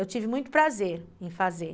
Eu tive muito prazer em fazer.